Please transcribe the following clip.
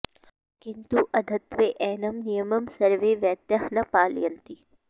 किन्तु अद्यत्वे एनं नियमं सर्वे वैद्याः न पालयन्ति